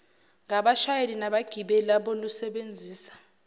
ngabashayeli nabagibeli abalusebenzisa